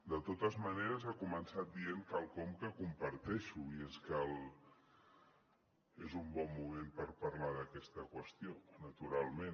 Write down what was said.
de totes maneres ha començat dient quelcom que comparteixo i és que és un bon moment per parlar d’aquesta qüestió naturalment